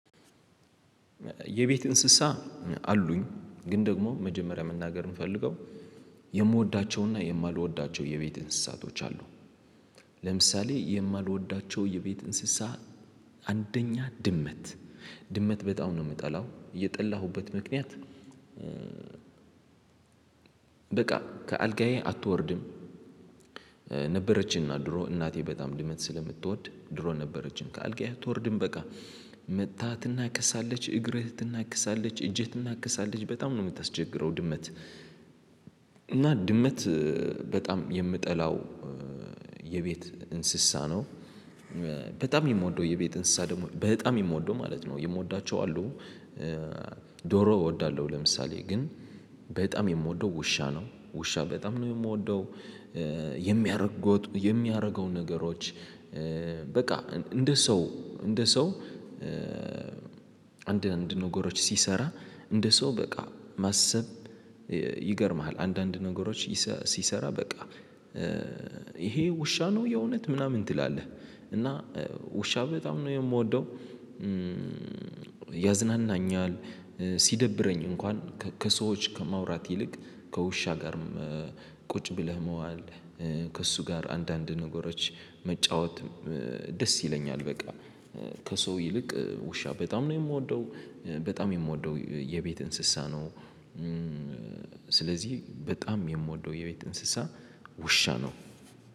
የቤት እንስሳ አሉኝ ግን ደግሞ መጀመሪያ መናገር የምፈልገው የምወዳቸውና የማልወዳቸው የቤት እንስሳቶች አሉ። ለምሳሌ የማልወዳቸው የቤት እንስሳ አንደኛ ድመት ድመት በጣም ነው የምጠላው የጠላሁበት ምክንያት። በቃ ከአልጋዬ አትወርድም። ነበረችና ድሮ እናቴ በጣም ድመት ስለምትወድ ድሮ ነበረችን ከአልጋዬ አትወርድም በቃ መጥታ ትናክሳለች እግርህ ትናከሳለች እጅህ ትናከሳለች በጣም ነው የምታስቸግረው ድመት። እና ድመት በጣም የምጠላው የቤት እንስሳ ነው። በጣም የምወደው የቤት እንስሳ ደግሞ በጣም የምወደው ማለት ነው የምወዳቸው አሉ። ዶሮ እወዳለሁ ለምሳሌ ግን በጣም የምወደው ውሻ ነው ውሻ በጣም ነው እምወደው። የሚያረገው ነገሮች። በቃ እንደ ሰው እንደ ሰው አንዳንድ ነገሮች ሲሰራ እንደ ሰው በቃ ማሰብ ይገርምሃል። አንዳንድ ነገሮች ሲሰራ በቃ ይሄ ውሻ ነው የእውነት ምናምን ትላለህ። እና ውሻ በጣም ነው የምወደው። ያዝናናኛል ሲደብረኝ እንኳን ከሰዎች ከማውራት ይልቅ ከውሻ ጋርም ቁጭ ብለህ መዋል ከእሱ ጋር አንዳንድ ነገሮች መጫወት ደስ ይለኛል። በቃ ከሰው ይልቅ ውሻ በጣም ነው የምወደው በጣም የምወደው የቤት እንስሳ ነው። ስለዚህ በጣም የምወደው የቤት እንስሳ ውሻ ነው።